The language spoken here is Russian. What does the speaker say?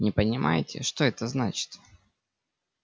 не понимаете что это значит